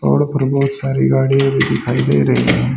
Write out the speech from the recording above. और ऊपर बोहत सारी गाड़िया भी दिखाई दे रही है।